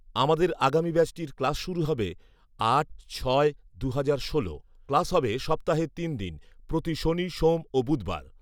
আমাদের আগামী ব্যাচটির ক্লাশ শুরু হবে আট ছয় দুহাজার ষোল। ক্লাশ হবে সপ্তাহে তিন দিন প্রতি শনি সোম ও বুধবার